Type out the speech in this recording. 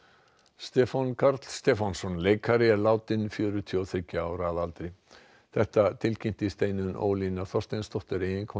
Stefán Karl Stefánsson leikari er látinn fjörutíu og þriggja ára að aldri þetta tilkynnti Steinunn Ólína Þorsteinsdóttir eiginkona